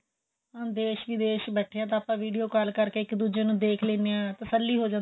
ਦੇਸ਼ ਵਿਦੇਸ਼ ਬੇਠੇ ਹਾਂ ਤਾਂ ਆਪਾਂ video call ਕਰ ਕੇ ਇੱਕ ਦੂਜੇ ਨੂੰ ਦੇਖ ਲਿੰਨੇ ਆਂ ਤਰ੍ਸ੍ਲੀ ਹੋ ਜਾਂਦੀ ਏ